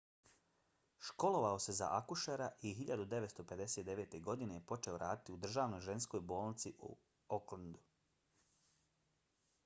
školovao se za akušera i 1959. godine je počeo raditi u državnoj ženskoj bolnici u aucklandu